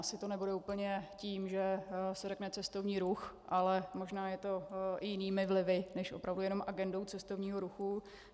Asi to nebude úplně tím, že se řekne cestovní ruch, ale možná je to i jinými vlivy než opravdu jenom agendou cestovního ruchu.